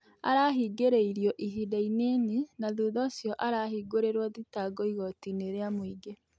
Arahĩngĩrĩrwo ĩhĩnda ĩnĩnĩ na thũtha ũcĩo arahĩngũrĩrwo thĩtango ĩgotĩ- ĩnĩ rĩa mũĩngĩ